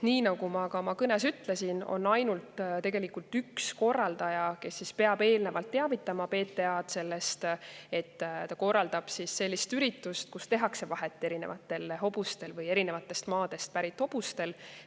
Nagu ma ka oma kõnes ütlesin, on ainult üks korraldaja, kes peab eelnevalt teavitama PTA‑d sellest, et ta korraldab sellist üritust, kus tehakse vahet erinevatel hobustel või eri maadelt pärit hobustel.